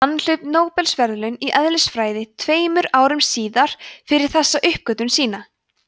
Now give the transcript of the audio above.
hann hlaut nóbelsverðlaun í eðlisfræði tveimur árum síðar fyrir þessa uppgötvun sína